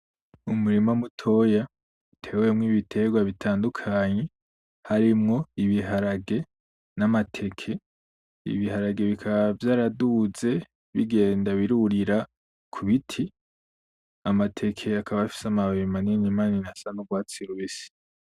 Umurima mutoya uteyemwo ibiterwa bitandukanye, harimwo ibiharage namateke. Ibiharage bikaba vyaraduze bigenda birurira kubiti, amateke akaba afise amababi manini manini asa nurwatsi rubisi.